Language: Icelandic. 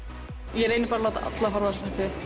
ég reyni að láta alla horfa